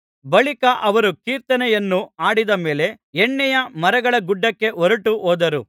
ಬಳಿಕ ಅವರು ಕೀರ್ತನೆಯನ್ನು ಹಾಡಿದ ಮೇಲೆ ಎಣ್ಣೆಯ ಮರಗಳ ಗುಡ್ಡಕ್ಕೆ ಹೊರಟು ಹೋದರು